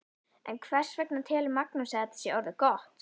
En hvers vegna telur Magnús að þetta sé orðið gott?